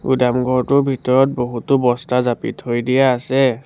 গুদাম ঘৰটোৰ ভিতৰত বহুতো বস্তা জাপি থৈ দিয়া আছে।